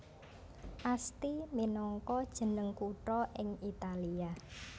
Asti minangka jeneng kutha ing Italia